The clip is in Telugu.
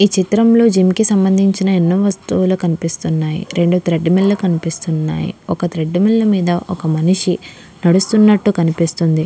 ఈ చిత్రం లో జిమ్ కి సంబంధించిన ఎన్నో వస్తువులు కనిపిస్తున్నాయి. రెండు థ్రెడ్మిల్ లు కనిపిస్తున్నాయి. ఒక థ్రెడ్మిల్ మీద ఒక మనిషి హా నడుస్తున్నట్ట్టు కనిపిస్తుంది .